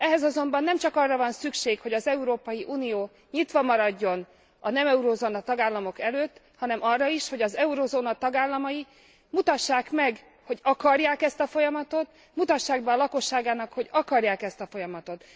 Ehhez azonban nem csak arra van szükség, hogy az Európai Unió nyitva maradjon a nem eurózóna tagállamok előtt, hanem arra is, hogy az eurózóna tagállamai mutassák meg, hogy akarják ezt a folyamatot, mutassák be a lakosságuknak, hogy akarják ezt a folyamatot.